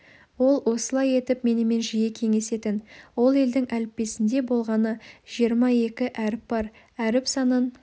ол осылай етіп менімен жиі кеңесетін ол елдің әліппесінде болғаны жиырма екі әріп бар әріп санын